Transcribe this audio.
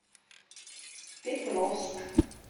петровск